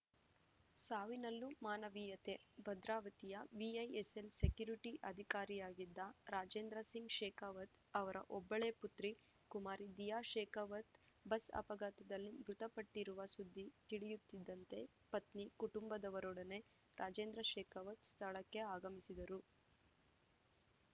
ಸಾವಿನಲ್ಲೂ ಮಾನವೀಯತೆ ಭದ್ರಾವತಿಯ VISL security ಅಧಿಕಾರಿಯಾಗಿದ್ದ ರಾಜೇಂದ್ರ ಸಿಂಗ್‌ ಶೇಖಾವತ್‌ ಅವರ ಒಬ್ಬಳೇ ಪುತ್ರಿ ಕುಮಾರಿ ದಿಯಾ ಶೇಕಾವತ್‌ ಬಸ್‌ ಅಪಘಾತದಲ್ಲಿ ಮೃತಪಟ್ಟಿರುವ ಸುದ್ದಿ ತಿಳಿಯುತ್ತಿದ್ದಂತೆ ಪತ್ನಿ ಕುಟುಂಬದವರೊಡನೆ ರಾಜೇಂದ್ರ ಶೇಕಾವತ್‌ ಸ್ಥಳಕ್ಕೆ ಆಗಮಿಸಿದರು